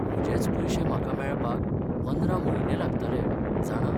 म्हजेच पयशे म्हाका मेळपाक 15 म्हयने लागतले, जाणा?